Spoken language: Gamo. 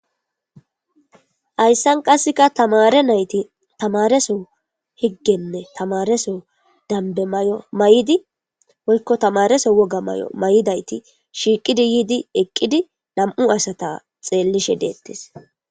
hayssan qasseka tamare nayti tamareso higgenne tamareso danbe may7o may7idi wolko tamareso woga may7o may7idayti shiiqidi yiidi eqqidi nam7u asata xeellishe deettis